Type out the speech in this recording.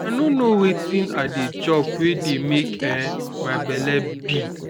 i no know wetin i dey chop wey dey make um my bele big